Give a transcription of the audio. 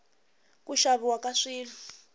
ku xaviwa ka swilo